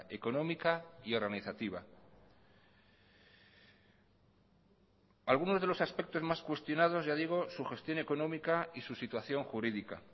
económica y organizativa algunos de los aspectos más cuestionados ya digo su gestión económica y su situación jurídica